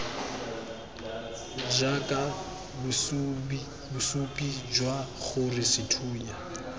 jaaka bosupi jwa gore sethunya